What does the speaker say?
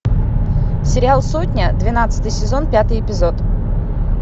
сериал сотня двенадцатый сезон пятый эпизод